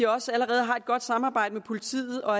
også allerede har et godt samarbejde med politiet og